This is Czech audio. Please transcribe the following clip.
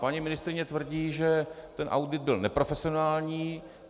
Paní ministryně tvrdí, že ten audit byl neprofesionální.